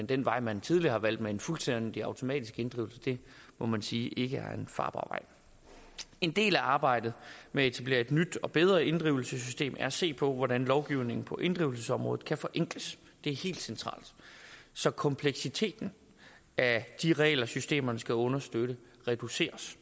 den vej man tidligere har valgt med fuldstændig automatisk inddrivelse må man sige ikke er en farbar vej en del af arbejdet med at etablere et nyt og bedre inddrivelsessystem er at se på hvordan lovgivningen på inddrivelsesområdet kan forenkles så kompleksiteten af de regler systemerne skal understøtte reduceres